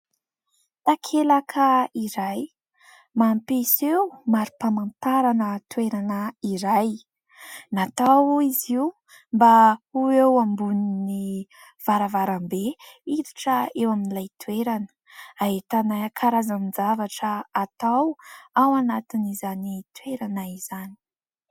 Takelaka iray mampiseho mari-pamantarana toerana iray, natao izy io mba ho eo ambon'ny varavarambe miditra eo amin'ilay toerana, ahitana ny karazan-javatra atao ao anatin'izany toerana izany.